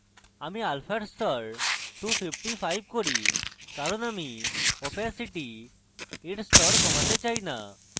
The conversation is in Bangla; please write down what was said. আমি alpha এর স্তর 255 করি কারণ আমি opacity এর স্তর কমাতে চাই না